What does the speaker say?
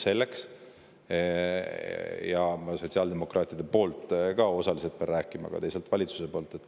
Pean osaliselt rääkima sotsiaaldemokraatide poolt, aga teisalt valitsuse poolt.